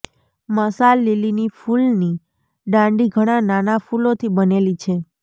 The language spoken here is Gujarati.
મશાલ લીલીની ફૂલની દાંડી ઘણા નાના ફૂલોથી બનેલી છે